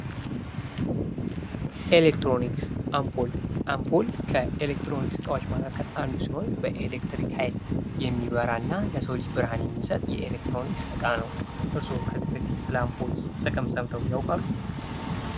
ኤሌክትሮኒክስ፦ አምፖል ፦ አምፓል ከኤሌክትሮኒክስ እቃዎች መካከል አንዱ ሲሆን በኤሌክትሪክ ኃይል የሚበራና ለሰው ልጅ ብርሃን የሚሰጥ የኤሌክትሮኒክስ እቃ ነው ። እርስዎ ከዚህ በፊት ስለ አምፖል ጥቅም ሰምተው ያውቃሉ ?